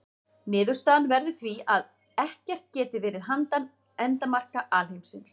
Niðurstaðan verður því að ekkert geti verið handan endamarka alheimsins.